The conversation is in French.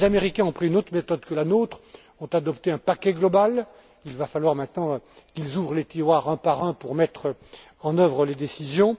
Les Américains ont pris une autre méthode que la nôtre, ont adopté un paquet global. Il va falloir maintenant qu'ils ouvrent les tiroirs un par un pour mettre en œuvre les décisions.